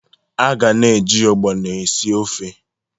A ga na-eji ogbono esi ofe.